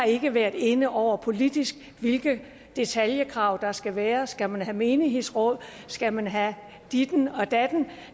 ikke været inde over politisk hvilken detaljeringsgrad der skal være skal man have menighedsråd og skal man have ditten og datten